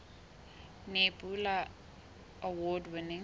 nebula award winning